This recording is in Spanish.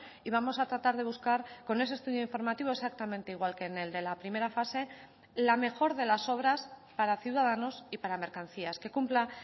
y vamos a tratar de buscar con ese estudio informativo exactamente igual que en el de la primera fase la mejor de las obras para ciudadanos y para mercancías que cumpla